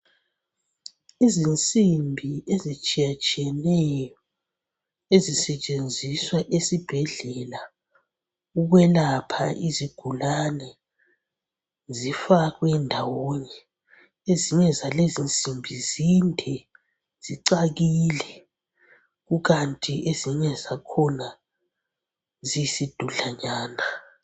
Izinsimbi ezitshiyatshiyeneyo ezisetshenziswa esibhedlela ukwelapha izigulane zifakwendawonye. Ezinyezalezinsimbi zinde, zicakile, kukanti ezinyezakhona ziyisidudlanyana